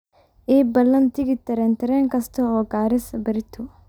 ii ballan tigidh tareen tareen kasta oo garissa berrito